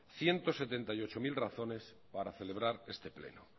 ciento setenta y ocho mil razones para celebrar este pleno